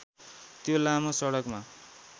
त्यो लामो सडकमा